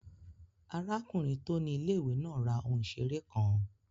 Arákùnrin tó ni ilé-ìwé náà ra ohun ìseré kan